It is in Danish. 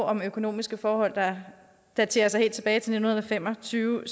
om økonomiske forhold der daterer sig helt tilbage til nitten fem og tyve